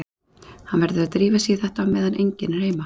Hann verður að drífa sig í þetta á meðan enginn er heima.